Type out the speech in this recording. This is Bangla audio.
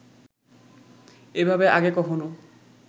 এভাবে আগে কখনও